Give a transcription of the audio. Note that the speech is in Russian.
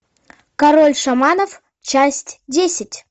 король шаманов часть десять